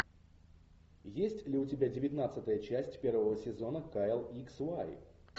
есть ли у тебя девятнадцатая часть первого сезона кайл икс вай